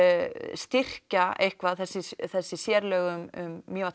styrkja eitthvað þessi þessi sérlög um Mývatn